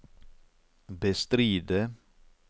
bestride